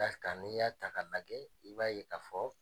Barika n'i y'a ta k'a lagɛ, i b'a ye k'a fɔ